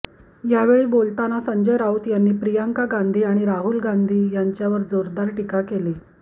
यावेळी बोलताना संजय राऊत यांनी प्रियांका गांधी आणि राहुल गांधी यांच्यावर जोरदार टीका केली